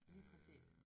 Lige præcis